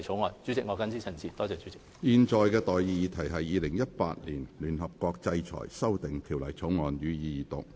我現在向各位提出的待議議題是：《2018年聯合國制裁條例草案》，予以二讀。